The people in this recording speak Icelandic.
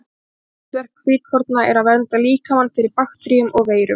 Aðalhlutverk hvítkorna er að vernda líkamann fyrir bakteríum og veirum.